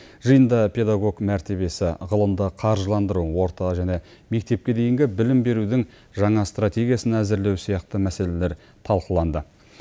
жиында педагог мәртебесі ғылымды қаржыландыру орта және мектепке дейінгі білім берудің жаңа стратегиясын әзірлеу сияқты мәселелер талқыланды